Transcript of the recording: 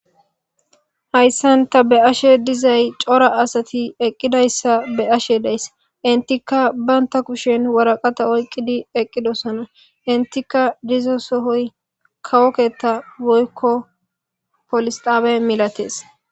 hayssan ta be ashe dizay cora asati eqqidayssa be ashe deys intika baynta kushen waraqata oyqqidi eqqidosona intika dizo sohoy kawoketa woykko polisxaabe milates